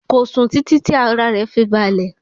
Kò sùn títí tí ara rẹ̀ fi balẹ̀.